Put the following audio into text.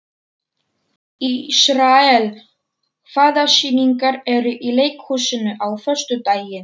Ísrael, hvaða sýningar eru í leikhúsinu á föstudaginn?